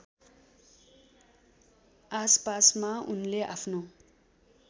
आसपासमा उनले आफ्नो